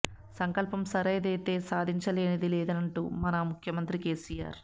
సంకల్పం సరైనదైతే సాధించలేనిదేది లేదని అంటారు మన ముఖ్యమంతి కెసిఆర్